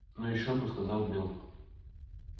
ну ещё бы сказал билл